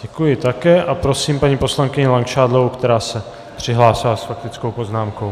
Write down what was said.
Děkuji také a prosím paní poslankyni Langšádlovou, která se přihlásila s faktickou poznámkou.